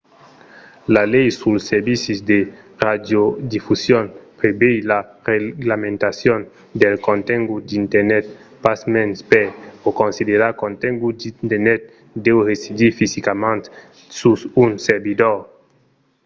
la lei suls servicis de radiodifusion prevei la reglamentacion del contengut d’internet pasmens per o considerar contengut d’internet deu residir fisicament sus un servidor